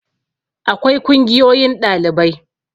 akwai kungiyoyin ɗalibai